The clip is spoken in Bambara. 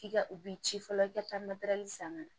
K'i ka u b'i ci fɔlɔ i ka taa san ka na